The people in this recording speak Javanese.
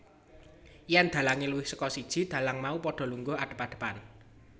Yèn dhalange luwih saka siji dhalang mau padha lungguh adep adepan